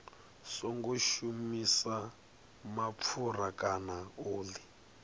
songo shumisa mapfura kana oḽi